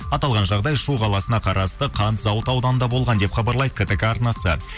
аталған жағдай шу қаласына қарасты қант зауыт ауданында болған деп хабарлайды ктк арнасы